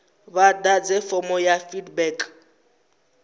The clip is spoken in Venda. vha ḓadze fomo ya feedback